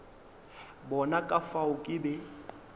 bona ka fao ke be